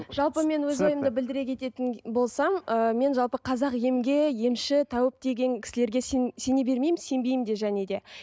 жалпы мен өз ойымды білдіре кететін болсам ы мен жалпы қазақ емге емші тәуіп деген кісілерге сене бермеймін сенбеймін де және де